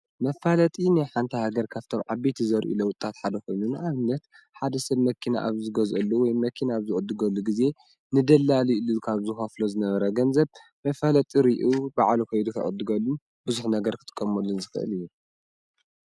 መፍለጢ ናይ ሓንቲ ሃገር ካብቶም ዓበይቲ ዘርእዩ ለውጥታት ሓደ ኾይኑ ንኣብነት ሓደ ሰብ መኪና ኣብ ዝገዝአሉ መኪና ኣብ ዝዕድገሉ ጊዜ ንደላሊ ኢሉ ካብ ዝኸፍሎ ዝነበረ ገንዘብ መፍለጢ ሪኡ ባዕሉ ኸይዱ ከይዱ ክዕድገሉ ብዙሕ ነገር ክጥቀመሉን ዝኽእል እዩ፡፡